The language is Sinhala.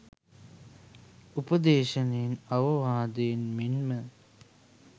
උපදේශනයෙන් අවවාදයෙන් මෙන්ම